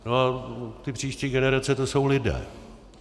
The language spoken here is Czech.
No a ty příští generace, to jsou lidé.